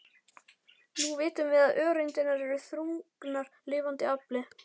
Nú vitum við að öreindirnar eru þrungnar lifandi afli.